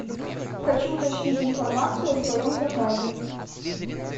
хочу уточнить информацию о своем заказе